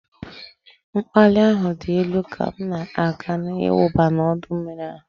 Mkpali ahụ dị elu ka m na-agbanị ịwụba n'ọdọ mmiri ahụ